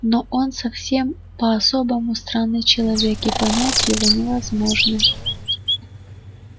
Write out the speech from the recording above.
но он совсем по-особому странный человек и понять его невозможно